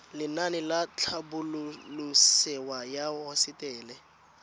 lenaane la tlhabololosewa ya hosetele